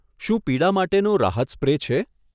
શું પીડા માટેનો રાહત સ્પ્રે છે?